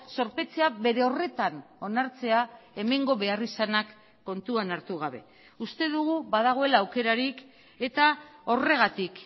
zorpetzea bere horretan onartzea hemengo beharrizanak kontuan hartu gabe uste dugu badagoela aukerarik eta horregatik